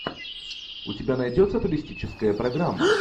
у тебя найдется туристическая программа